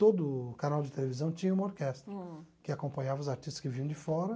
Todo canal de televisão tinha uma orquestra. Hum. Que acompanhava os artistas que vinham de fora.